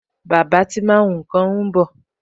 Bàbá tí máa ń hun nkan ń bọ̀